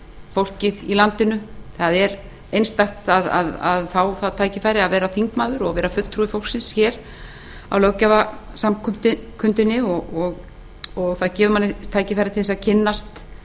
fólkið í landinu það er einstakt að fá það tækifæri að vera þingmaður og vera fulltrúi fólksins hér á löggjafarsamkundunni það gefur manni tækifæri til að kynnast